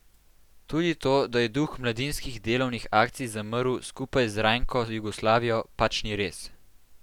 Tudi to, da je duh mladinskih delovnih akcij zamrl skupaj z rajnko Jugoslavijo, pač ni res.